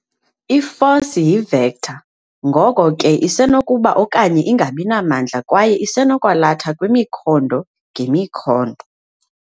I-force yi-vector, ngoko ke isenokuba okanye ingabinamandla kwaye isenokwalatha kwimikhondo ngemikhondo.